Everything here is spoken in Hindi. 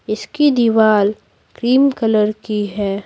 इसकी दीवार क्रीम कलर की है।